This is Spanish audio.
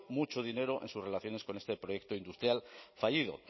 mucho dinero en sus relaciones con este proyecto industrial fallido